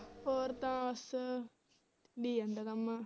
ਹੋਰ ਤਾਂ ਬਸ